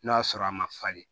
N'o y'a sɔrɔ a ma falen